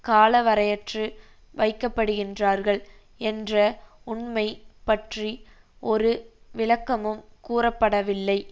காலவரையற்று வைக்கப்படுகின்றார்கள் என்ற உண்மை பற்றி ஒரு விளக்கமும் கூறப்படவில்லை